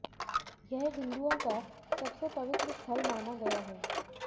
यह हिन्दुओं का सबसे पवित्र स्थल माना गया है